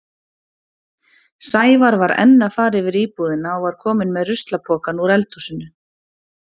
Sævar var enn að fara yfir íbúðina og var kominn með ruslapokann úr eldhúsinu.